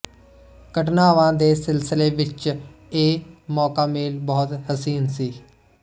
ਘਟਨਾਵਾਂ ਦੇ ਸਿਲਸਿਲੇ ਵਿੱਚ ਇਹ ਮੌਕਾਮੇਲ ਬਹੁਤ ਹਸੀਨ ਸੀ